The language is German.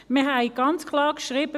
Wir haben ganz klar geschrieben: